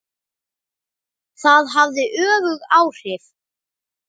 Það hafði öfug áhrif.